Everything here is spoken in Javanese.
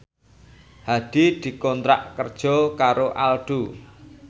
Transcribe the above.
Hadi dikontrak kerja karo Aldo